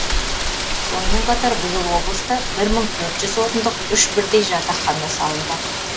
сонымен қатар биыл облыста бір мың төрт жүз орындық үш бірдей жатақхана салынбақ